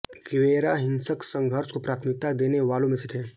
Guevara हिंसक संघर्ष को प्राथमिकता देने वालों में से थे